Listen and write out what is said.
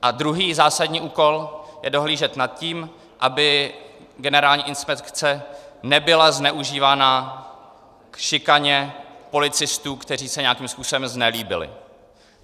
A druhý zásadní úkol je dohlížet na to, aby Generální inspekce nebyla zneužívána k šikaně policistů, kteří se nějakým způsobem znelíbili.